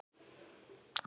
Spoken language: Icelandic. Því fylgdi skrjáf í ná